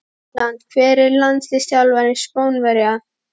England Hver er landsliðsþjálfari Spánverja?